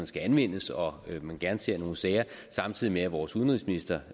skal anvendes og at man gerne ser nogle sager samtidig med at vores udenrigsminister